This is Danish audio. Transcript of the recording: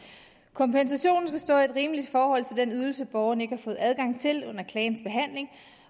kompensationen skal stå i et rimeligt forhold til den ydelse borgeren ikke har fået adgang til under klagens behandling